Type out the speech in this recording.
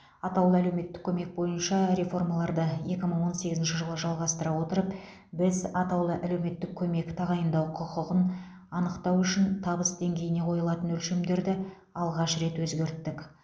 атаулы әлеуметтік көмек бойынша реформаларды екі мың он сегізінші жылы жалғастыра отырып біз атаулы әлеуметтік көмек тағайындау құқығын анықтау үшін табыс деңгейіне қойылатын өлшемдерді алғаш рет өзгерттік